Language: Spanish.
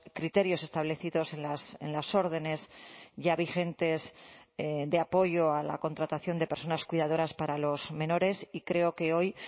criterios establecidos en las órdenes ya vigentes de apoyo a la contratación de personas cuidadoras para los menores y creo que hoy